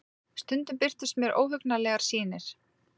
Stundum birtust mér óhugnanlegar sýnir.